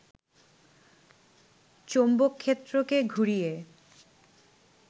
চৌম্বকক্ষেত্রকে ঘুরিয়ে